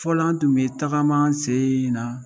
Fɔlɔ an bi tun bi tagama an sen na.